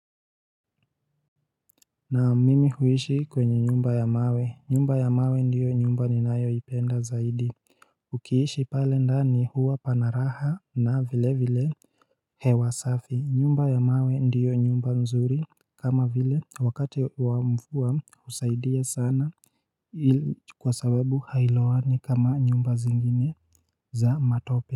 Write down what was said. Na mimi huishi kwenye nyumba ya mawe, nyumba ya mawe ndiyo nyumba ninayoipenda zaidi Ukiishi pale ndani huwa pana raha na vile vile hewa safi, nyumba ya mawe ndiyo nyumba mzuri kama vile wakati wa mvua husaidia sana Kwa sababu hailowani kama nyumba zingine za matope.